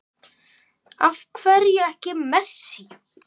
Af hverju ekki Messi?